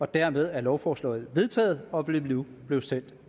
dermed er lovforslaget vedtaget og vil nu blive sendt